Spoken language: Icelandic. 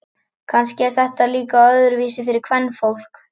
Kannski er þetta líka öðruvísi fyrir kvenfólk.